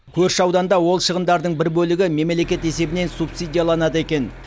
көрші ауданда ол шығындардың бір бөлігі мемлекет есебінен субсидияланады екен